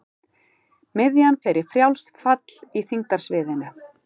Miðjan fer í frjálst fall í þyngdarsviðinu.